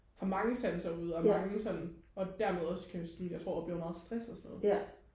har mange sanser ude og mange sådan og dermed også kan sådan jeg tror opleve meget stress og sådan noget